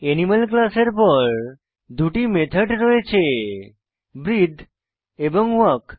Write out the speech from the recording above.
animal ক্লাসের পর দুটি মেথড রয়েছে ব্রিথে এবং ওয়াক